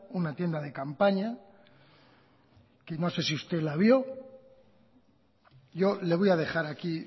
una tienda de campaña que no sé si usted la vio yo le voy a dejar aquí